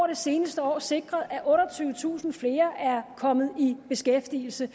det seneste år sikret at otteogtyvetusind flere er kommet i beskæftigelse